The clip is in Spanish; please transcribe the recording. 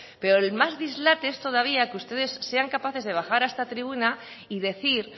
pero el más dislate es todavía que ustedes sean capaces de baja a esta tribuna y decir